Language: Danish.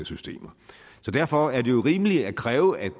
systemer derfor er det jo rimeligt at kræve at